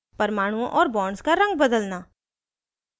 परमाणुओं और bonds का रंग बदलना